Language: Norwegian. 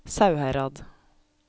Sauherad